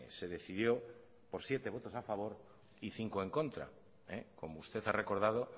se decidió por siete votos a favor y cinco en contra como usted ha recordado